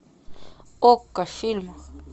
окко фильм